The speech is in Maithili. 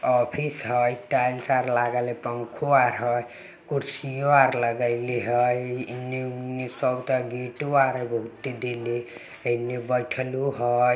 ऑफिस हेय टाइल्स आर लागल हेय पंखों आर हेय कुर्सीयो आर लगेले हेयइन्ने उनने सबटा गेटो आर हेय बहुते देलेे एन्ने बैठलो हेय।